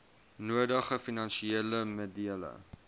nodige finansiële middele